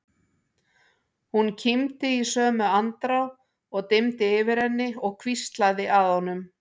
Hún kímdi í sömu andrá og dimmdi yfir henni og hvíslaði að honum